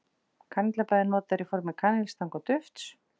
Kanill er bæði notaður í formi kanilstanga og dufts.